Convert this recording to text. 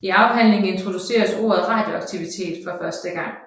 I afhandlingen introduceres ordet radioaktivitet for første gang